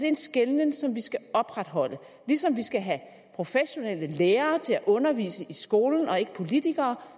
en skelnen som vi skal opretholde ligesom vi skal have professionelle lærere til at undervise i skolen og ikke politikere